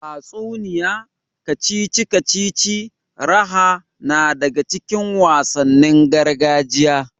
Tatsuniya, kacici kacici, raha na daga cikin wasannin gargajiya.